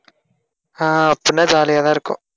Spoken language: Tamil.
ஆஹ் அப்படினா jolly யாதான் இருக்கும்